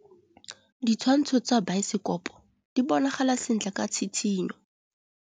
Ditshwantshô tsa biosekopo di bonagala sentle ka tshitshinyô.